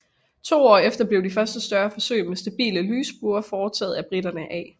To år efter blev de første større forsøg med stabile lysbuer foretaget af briterne A